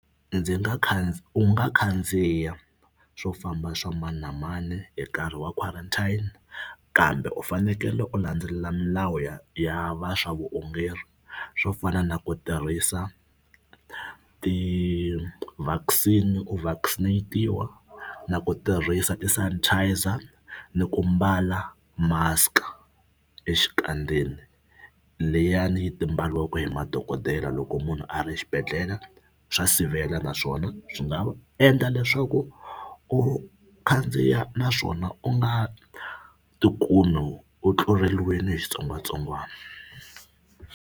Ndzi nga kha u nga khandziya swo famba swa mani na mani hi nkarhi wa quarantine kambe u fanekele u landzelela milawu ya ya va swa vuongeri swo fana na ku tirhisa ti-vaccine u vaccinate-iwa na ku tirhisa ti-sanitiser ni ku mbala mask-a exikandzeni leyani ti mbariwaka hi madokodela loko munhu a ri xibedhlele swa sivela naswona swi nga endla leswaku u khandziya naswona u nga tikumi u tluleriwile hi xitsongwatsongwana.